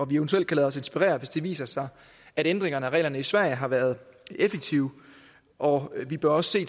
vi eventuelt kan lade os inspirere hvis det viser sig at ændringerne af reglerne i sverige har været effektive og vi bør også se